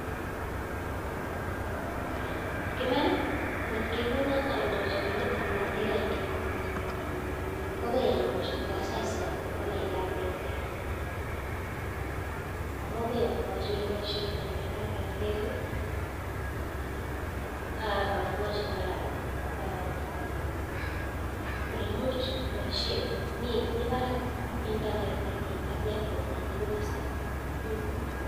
En Iman angot kekonoom aldeechi olindetab Airtel lainda, kwokoamuch kotasaisai kot kwal laindab Airtel .Amun agoi amwochii oleboishiotoi laindab Airtel, ak amwochi kora alenyii much koboishien anan mii barak network nenyin komi komie